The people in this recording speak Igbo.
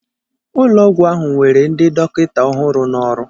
Ụlọ ọgwụ ahụ were ndị dọkịta ọhụrụ n'ọrụ